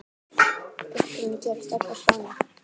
Uppruni gerist öll á Spáni.